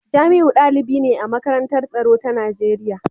Jamiu dalibi ne a Makarantar Tsaro ta Najeriya